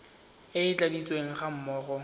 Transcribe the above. e e tladitsweng ga mmogo